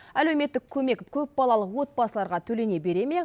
әлеуметтік көмек көпбалалы отбасыларға төлене бере ме